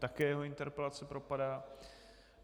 Také jeho interpelace propadá.